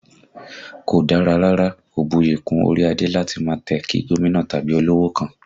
Kò dára rárá, kò buyì kún orí adé láti máa tẹ̀ kí gómìnà tàbí olówò kankan